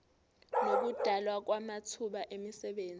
nokudalwa kwamathuba emisebenzi